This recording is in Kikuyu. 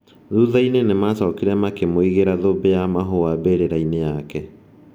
Thutha-inĩ nĩ macokire makĩmũigĩra thumbĩ ya mahũa mbĩrĩra-inĩ yake.